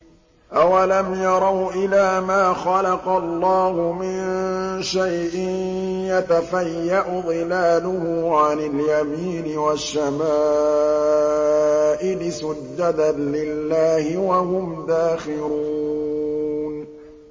أَوَلَمْ يَرَوْا إِلَىٰ مَا خَلَقَ اللَّهُ مِن شَيْءٍ يَتَفَيَّأُ ظِلَالُهُ عَنِ الْيَمِينِ وَالشَّمَائِلِ سُجَّدًا لِّلَّهِ وَهُمْ دَاخِرُونَ